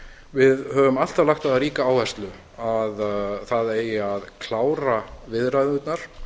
við höfum alltaf lagt á það ríka áherslu að það eigi að klára viðræðurnar